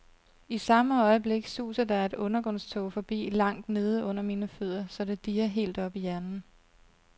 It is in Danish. I samme øjeblik suser der et undergrundstog forbi langt nede under mine fødder, så det dirrer helt op i hjernen.